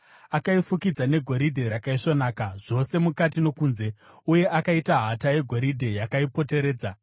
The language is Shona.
Akaifukidza negoridhe rakaisvonaka, zvose mukati nokunze, uye akaita hata yegoridhe yakaipoteredza.